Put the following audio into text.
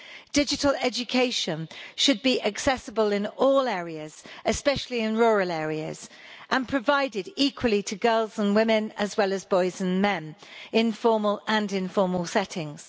Digital education should be accessible in all areas especially in rural areas and provided equally to girls and women, as well as boys and men, in formal and informal settings.